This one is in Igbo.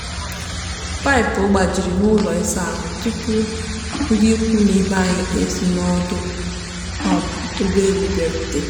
paipu gbajiri n'ụlọ ịsa ahụ tụpụ ndị ikwu na ibe anyị e si n'ọdụ um ụgbọelu bịarute.